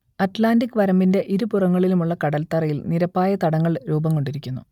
Atlantic വരമ്പിന്റെ ഇരുപുറങ്ങളിലുമുള്ള കടൽത്തറയിൽ നിരപ്പായ തടങ്ങൾ രൂപംകൊണ്ടിരിക്കുന്നു